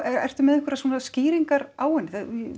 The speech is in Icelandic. ertu með einhverjar skýringar á henni